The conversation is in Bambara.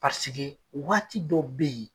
Paseke waati dɔw bɛ yen